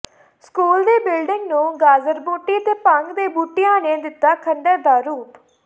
school ਦੀ building ਨੂੰ ਗਾਜਰਬੂਟੀ ਤੇ ਭੰਗ ਦੇ ਬੂਟਿਆਂ ਨੇ ਦਿੱਤਾ ਖੰਡਰ ਦਾ ਰੂਪ